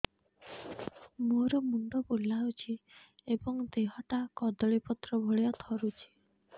ମୋର ମୁଣ୍ଡ ବୁଲାଉଛି ଏବଂ ଦେହଟା କଦଳୀପତ୍ର ଭଳିଆ ଥରୁଛି